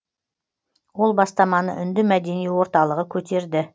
ол бастаманы үнді мәдени орталығы көтерді